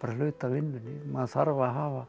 bara hluti af vinnunni maður þarf að hafa